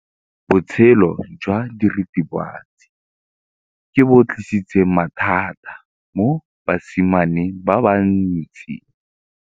Botshelo jwa diritibatsi ke bo tlisitse mathata mo basimaneng ba bantsi.